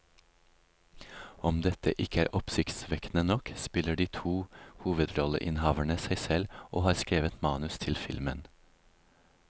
Om dette ikke er oppsiktsvekkende nok, spiller de to hovedrolleinnehaverne seg selv og har skrevet manus til filmen.